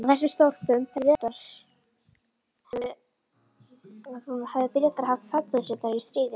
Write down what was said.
Á þessum stólpum höfðu Bretar haft fallbyssurnar í stríðinu.